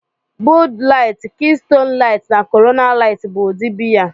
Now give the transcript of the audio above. Bud Light, Keystone Light, na Corona Light bụ ụdị biya